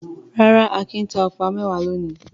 Rárá, Akin ta ọ̀pá mẹ́wàá lónìí.